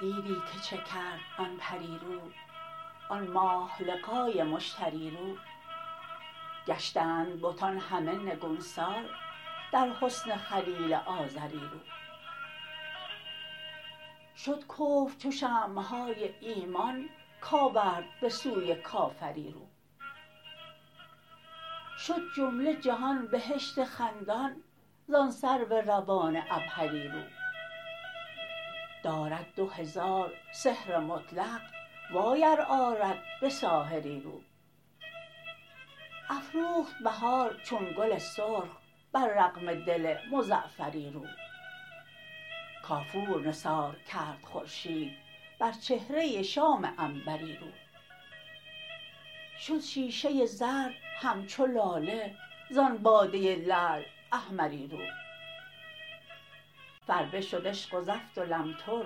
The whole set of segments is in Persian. دیدی که چه کرد آن پری رو آن ماه لقای مشتری رو گشتند بتان همه نگونسار در حسن خلیل آزری رو شد کفر چو شمع های ایمان کورد به سوی کافری رو شد جمله جهان بهشت خندان زان سرو روان عبهری رو دارد دو هزار سحر مطلق وای ار آرد به ساحری رو افروخت بهار چون گل سرخ بر رغم دل مزعفری رو کافور نثار کرد خورشید بر چهره شام عنبری رو شد شیشه زرد همچو لاله زان باده لعل احمری رو فربه شد عشق و زفت و لمتر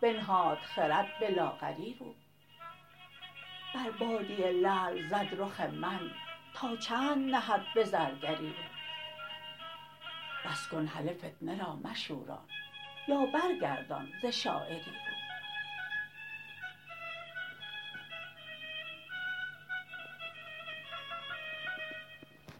بنهاد خرد به لاغری رو بر باده لعل زد رخ من تا چند نهد به زرگری رو بس کن هله فتنه را مشوران یا برگردان ز شاعری رو